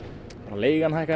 leigan hækkaði